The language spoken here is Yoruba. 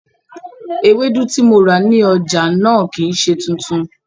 Ewédú tí mo rà ní ọjà náà kìí ṣe tuntun